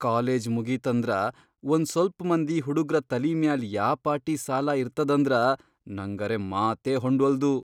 College ಮುಗೀತಂದ್ರ ಒಂದ್ ಸ್ವಲ್ಪ್ ಮಂದಿ ಹುಡುಗ್ರ ತಲೀ ಮ್ಯಾಲ್ ಯಾಪಾಟಿ ಸಾಲಾ ಇರ್ತದಂದ್ರ ನಂಗರೆ ಮಾತೇ ಹೊಂಡ್ವಲ್ದು.